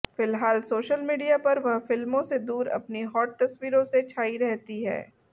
फिलहाल social media पर वह फिल्मों से दूर अपनी हॅाट तस्वीरों से छाई रहती हैं